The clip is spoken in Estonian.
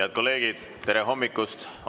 Head kolleegid, tere hommikust!